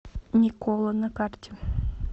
никола на карте